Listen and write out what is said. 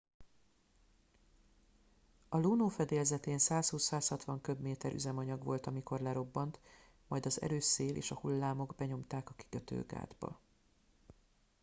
a luno fedélzetén 120-160 köbméter üzemanyag volt amikor lerobbant majd az erős szél és a hullámok benyomták a kikötőgátba